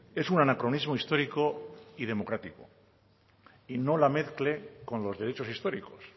es un anacronismo histórico y democrático y no la mezcle con los derechos históricos